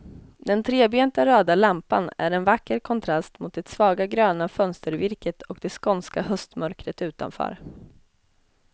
Den trebenta röda lampan är en vacker kontrast mot det svagt gröna fönstervirket och det skånska höstmörkret utanför.